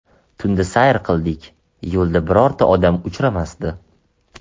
Tunda sayr qildik, yo‘lda birorta odam uchramasdi.